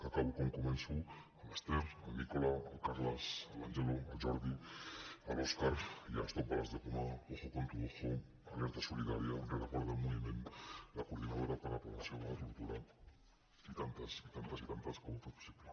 acabo com començo amb l’ester el nicola el carles l’angelo el jordi l’óscar i stop bales de goma ojo con tu ojo alerta solidària rereguarda en moviment la coordinadora per la prevenció de la tortura i tantes i tantes que ho han fet possible